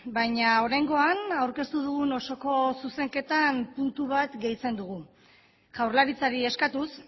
baina oraingoan aurkeztu dugun osoko zuzenketan puntu bat gehitzen dugu jaurlaritzari eskatuz